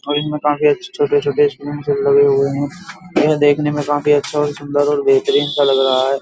और इनमें काफी अच्छे छोटे-छोटे स्पून लगे हुए हैं ये देखने में काफी अच्छा और सुंदर और बेहतरीन सा लग रहा है।